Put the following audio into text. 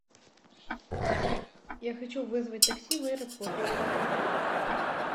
я хочу вызвать такси в аэропорт